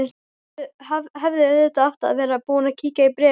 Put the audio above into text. Hefði auðvitað átt að vera búin að kíkja á bréfið.